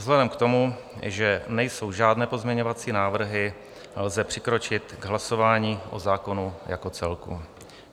Vzhledem k tomu, že nejsou žádné pozměňovací návrhy, lze přikročit k hlasování o zákonu jako celku.